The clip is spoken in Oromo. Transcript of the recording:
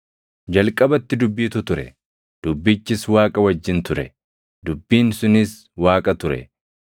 Jalqabatti dubbiitu ture; dubbichis Waaqa wajjin ture; dubbiin sunis Waaqa ture.